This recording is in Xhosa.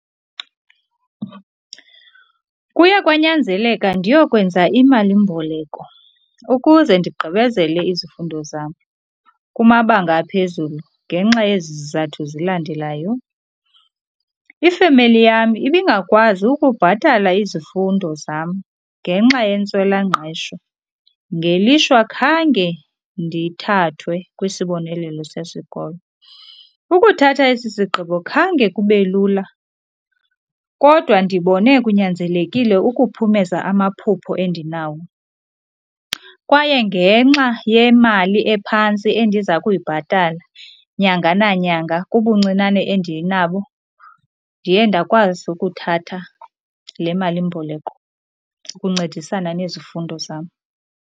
Kuya kwanyanzeleka ndiyokwenza imalimboleko ukuze ndigqibezele izifundo zam kumabanga aphezulu ngenxa yezi zizathu zilandelayo. Ifemeli yam ibingakwazi ukubhatala izifundo zam ngenxa yentswelangqesho, ngelishwa khange ndithathwe kwisibonelelo sesikolo. Ukuthatha esi sigqibo khange kube lula kodwa ndibone kunyanzelekile ukuphumeza amaphupho endinawo, kwaye ngenxa yemali ephantsi endiza kuyibhatala nyanga nanyanga kubuncinane endinabo ndiye ndakwazi ukuthatha le malimboleko ukuncedisana nezifundo zam.